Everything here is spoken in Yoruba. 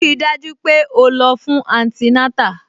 Rí i dájú pé o lọ fún antinátà